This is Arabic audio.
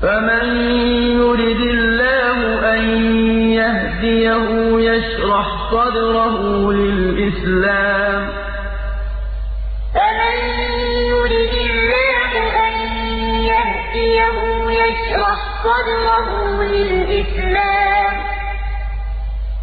فَمَن يُرِدِ اللَّهُ أَن يَهْدِيَهُ يَشْرَحْ صَدْرَهُ لِلْإِسْلَامِ ۖ